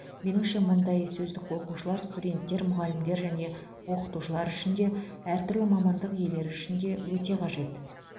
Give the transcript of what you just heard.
меніңше мұндай сөздік оқушылар студенттер мұғалімдер мен оқытушылар үшін де әртүрлі мамандық иелері үшін де өте қажет